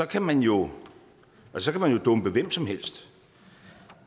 kan man jo dumpe hvem som helst